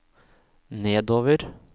nedover